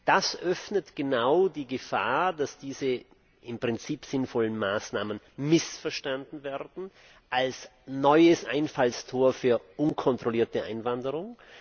Das birgt genau die Gefahr, dass diese im Prinzip sinnvollen Maßnahmen missverstanden werden als neues Einfallstor für unkontrollierte Einwanderung.